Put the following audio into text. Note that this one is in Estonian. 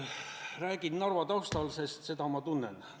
Räägin Narva taustal, sest seda ma tunnen.